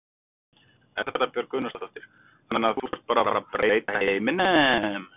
Erla Björg Gunnarsdóttir: Þannig þú ert bara að fara að breyta heiminum?